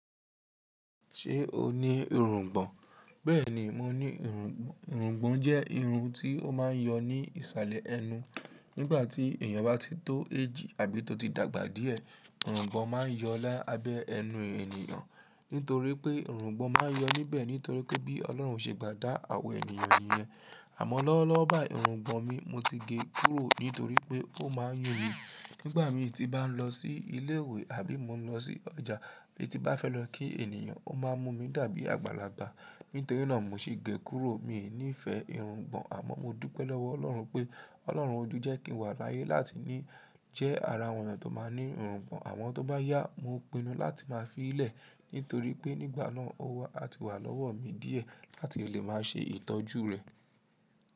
Ṣé o ní irungbọ̀n? Bẹ́ẹ̀ni, mo ní irungbọ̀n. Irungbọ̀n jẹ́ irun tí ó máa ń yọ ní ìsàlẹ̀ ẹnu. Nígbà tí èèyàn bá ti tó age àbí tó ti dàgbà díẹ̀, irungbọ̀n máa yọ lábẹ́ ẹnu èèyàn. Nítorí pé irungbọ̀n máa yọ níbẹ̀ nítorí pé bí Ọlọ́run ṣe gbà dá àwọn èniyan niyẹn. Àmọ́ lọ́wọ́lọ́wọ́ báyìí irungbọ̀n mi mo ti gé e kúrò nítorí pé ó máa ń yùn mi. Nígbà mi ti bá ń lọ sí ilé ìwé àbí mo lọ sí ọjà bí ti bá fẹ́ lọ kí èèyàn ó máa ń mumu mi dàbí àgbàlagbà. Nítorí náà mo sì gé e kúrò. Mi nífẹ̀ẹ́ irungbọ̀n àmọ́ mo dúpẹ́ lọ́wọ́ Ọlọ́run pé Ọlọ́run odu jẹ́ kí n wà láyé láti jẹ́ ara àwọn ènìyàn tó máa ń ní irungbọ̀n àwọn tó bá yá, mo pinnu láti máa fi í lẹ̀ nítorí pé nígbà náà ówo àti wà lọ́wọ́ mi díẹ̀ láti lè máa ṣe ìtọ́jú rẹ̀.